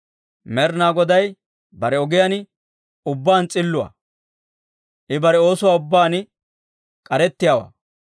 Med'inaa Goday bare ogiyaan ubbaan s'illuwaa; I bare oosuwaa ubbaan k'arettiyaawaa.